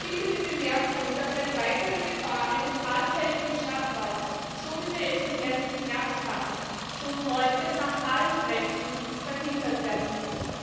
Erlauben Sie mir bitte die Bemerkung, dass die neuerliche Gefahr eines allfälligen shut down so wie wir es im letzten Herbst hatten, schon heute mit allen Kräften verhindert werden muss.